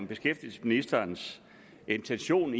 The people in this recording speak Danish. beskæftigelsesministerens intention